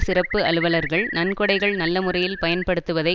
சிறப்பு அலுவலர்கள் நன்கொடைகள் நல்ல முறையில் பயன்படுத்துவதை